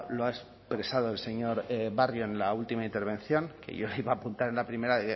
lo ha expresado el señor barrio en la última intervención que yo le iba a apuntar en la primera